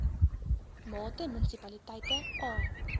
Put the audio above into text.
mate munisipaliteite a